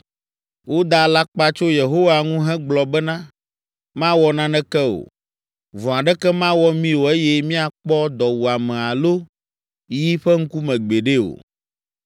Woda alakpa tso Yehowa ŋu hegblɔ bena, “Mawɔ naneke o! Vɔ̃ aɖeke mawɔ mí o eye míakpɔ dɔwuame alo yi ƒe ŋkume gbeɖe o.